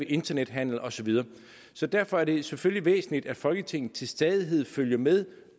internethandel og så videre så derfor er det selvfølgelig væsentligt at folketinget til stadighed følger med